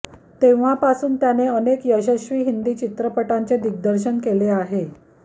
तेव्हापासून त्याने अनेक यशस्वी हिंदी चित्रपटांचे दिग्दर्शन केले आहे